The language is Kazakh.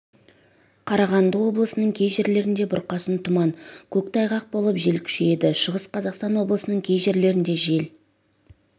қарағанды облысының кей жерлерінде бұрқасын тұман көктайғақ болып жел күшейеді шығыс қазақстан облысының кей жерлерінде жел